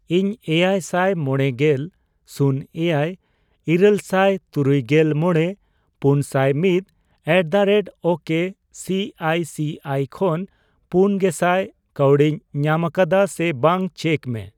ᱤᱧ ᱮᱭᱟᱭᱥᱟᱭ ᱢᱚᱲᱮᱜᱮᱞ ,ᱥᱩᱱ ᱮᱭᱟᱭ ,ᱤᱨᱟᱹᱞᱥᱟᱭ ᱛᱩᱨᱩᱭᱜᱮᱞ ᱢᱚᱲᱮ ,ᱯᱩᱱᱥᱟᱭ ᱢᱤᱛ ᱮᱴᱫᱟᱨᱮᱴᱳᱠᱮ ᱥᱤᱟᱭ ᱥᱤᱟᱭ ᱠᱷᱚᱱ ᱯᱩᱱᱜᱮᱥᱟᱭ ᱠᱟᱹᱣᱰᱤᱧ ᱧᱟᱢᱟᱠᱟᱫᱟ ᱥᱮ ᱵᱟᱝ ᱪᱮᱠ ᱢᱮ ᱾